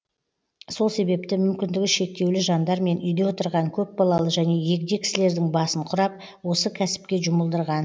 сол себепті мүмкіндігі шектеулі жандар мен үйде отырған көпбалалы және егде кісілердің басын құрап осы кәсіпке жұмылдырған